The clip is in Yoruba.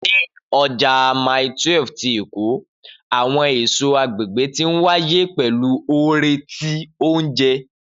Ni Ọja Mile 12 ti Eko, awọn eso agbegbe ti nwaye pẹlu oore ti ounjẹ.